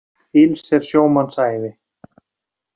Ills er sjómanns ævi.